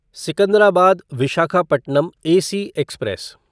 Secunderabad Visakhapatnam AC express